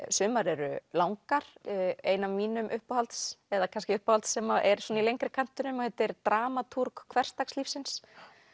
sumar eru langar ein af mínum uppáhalds eða kannski uppáhalds sem er svona í lengri kantinum og heitir dramatúrg hversdagslífsins